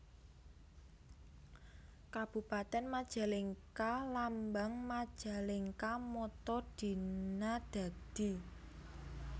Kabupatèn MajalengkaLambang MajalengkaMotto Dina Dadi